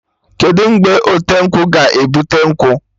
Kedụ mgbe ọte nkwụ ga-ebute nkwụ?